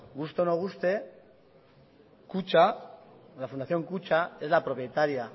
guste o no guste la fundación kutxa es la propietaria